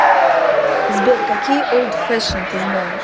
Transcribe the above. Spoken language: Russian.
сбер какие олд фешен ты знаешь